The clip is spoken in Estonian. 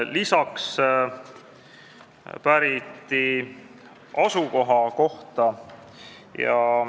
Lisaks päriti asukoha kohta.